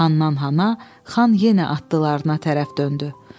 Xanndan-xana Xan yenə atlılarına tərəf döndü.